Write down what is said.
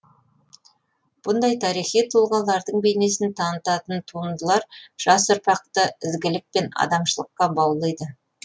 бұндай тарихи тұлғалардың бейнесін танытатын туындылар жас ұрпақты ізгілік пен адамшылыққа баулиды